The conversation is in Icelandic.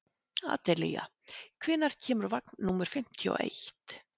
Adelía, hvenær kemur vagn númer fimmtíu og eitt?